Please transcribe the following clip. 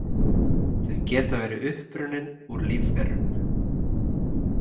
Þau geta verið upprunnin úr lífverum.